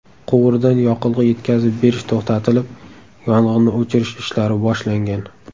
Quvurdan yoqilg‘i yetkazib berish to‘xtatilib, yong‘inni o‘chirish ishlari boshlangan.